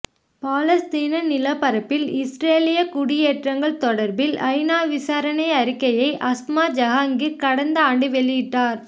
பாலஸ்தீன நிலப்பரப்பில் இஸ்ரேலிய குடியேற்றங்கள் தொடர்பில் ஐநா விசாரணை அறிக்கையை அஸ்மா ஜெஹாங்கிர் கடந்த ஆண்டு வெளியிட்டார்